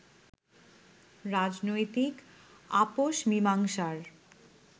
রাজনৈতিক আপোষ মীমাংসার